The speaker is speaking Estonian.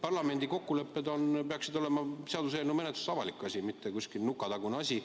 Parlamendi kokkulepped peaksid olema seaduseelnõu menetluses avalik, mitte mingisugune nurgatagune asi.